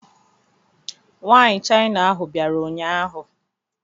Nwaanyị China ahụ bịara ụnyahụ.